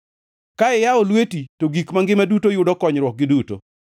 Ka iyawo lweti to gik mangima duto yudo konyruokgi duto.